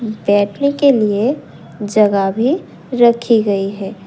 बैठने के लिए जगह भी रखी गई है।